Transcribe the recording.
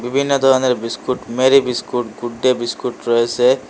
বিভিন্ন ধরনের biscuit Marie biscuit Good Day biscuit রয়েছে।